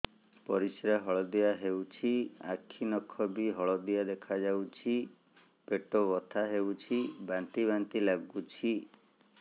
ପରିସ୍ରା ହଳଦିଆ ହେଉଛି ଆଖି ନଖ ବି ହଳଦିଆ ଦେଖାଯାଉଛି ପେଟ ବଥା ହେଉଛି ବାନ୍ତି ବାନ୍ତି ଲାଗୁଛି